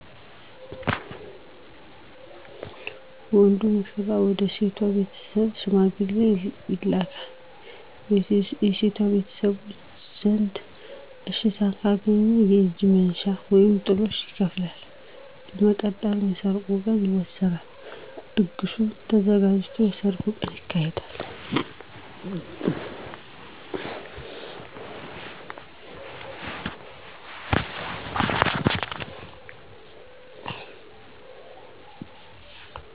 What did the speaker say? ወንዱ ሙሽራ ወደ ሴቷ ቤተሰብ ሽማግሌ ይልካል። በሴቷ ቤተሰቦች ዘንድ እሽታን ካገኘ የእጅ መንሻ (ጥሎሽ) ይከፍላል። በመቀጠል የሰርጉ ቀን ይወሰናል። ድግሱ ተዘጋጅቶ የሰርግ ቀን ይካሄዳል።